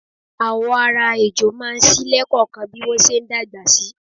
Àwọ̀ ara ejò máa ń ṣí lẹẹkọọkan bí wọn ṣe ń dàgbà si.